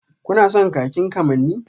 Kuna son kakin kamanni?